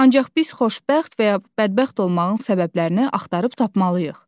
Ancaq biz xoşbəxt və ya bədbəxt olmağın səbəblərini axtarıb tapmalıyıq.